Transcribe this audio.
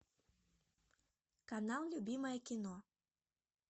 канал любимое кино